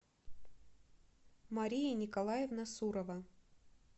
мария николаевна сурова